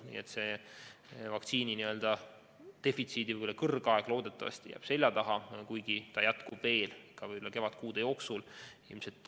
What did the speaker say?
Nii et loodetavasti jääb vaktsiinidefitsiidi kõrgaeg selja taha, kuigi ta jätkub veel võib-olla ka kevadkuude jooksul.